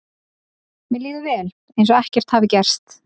Mér líður vel, eins og ekkert hafi gerst.